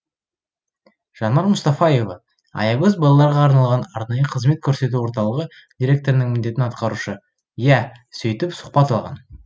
жанар мұстафаева аягөз балаларға арналған арнайы қызмет көрсету орталығы директорының міндетін атқарушы иә сөйтіп сұқбат алған